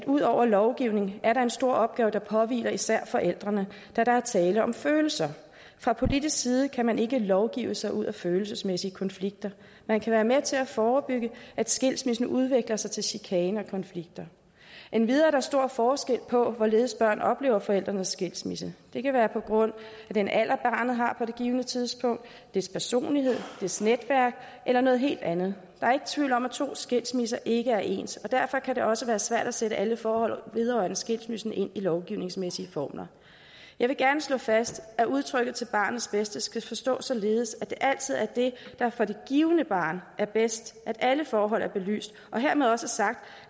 ud over lovgivning er en stor opgave der påhviler især forældrene da der er tale om følelser fra politisk side kan man ikke lovgive sig ud af følelsesmæssige konflikter man kan være med til at forebygge at skilsmissen udvikler sig til chikane og konflikter endvidere er der stor forskel på hvorledes børn oplever forældrenes skilsmisse det kan være på grund af den alder barnet har på det givne tidspunkt dets personlighed dets netværk eller noget helt andet der er ikke tvivl om at to skilsmisser ikke er ens og derfor kan det også være svært at sætte alle forhold vedrørende en skilsmisse ind i lovgivningsmæssige formler jeg vil gerne slå fast at udtrykket til barnets bedste skal forstås således at det altid er det der for det givne barn er bedst at alle forhold er belyst og hermed også sagt